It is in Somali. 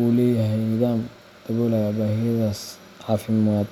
uu leeyahay nidaam daboolaya baahiyihiisa caafimaad.